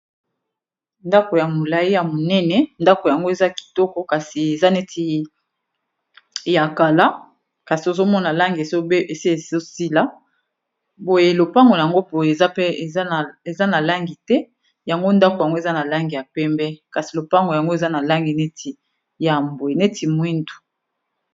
Ndako ya molayi ya monene ndako yango eza kitoko kasi eza neti ya kala kasi ozomona langi esi ezosila boye lopango yango boye eza pe eza na langi te yango ndako yango eza na langi ya pembe kasi lopango yango eza na langi ya mbwe neti mwindu.